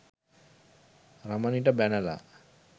රමණිට බැනලා.